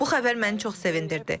Bu xəbər məni çox sevindirdi.